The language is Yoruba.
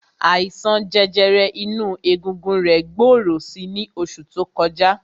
Àìsàn jẹjẹrẹ inú egungun rẹ̀ gbòòrò si ní oṣù tó kọjá.